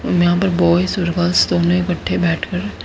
और यहां पर बॉयज और गर्ल्स दोनों इकट्ठे बैठकर--